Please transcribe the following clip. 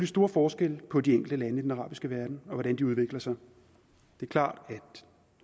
store forskelle på de enkelte lande i den arabiske verden og på hvordan de udvikler sig det er klart at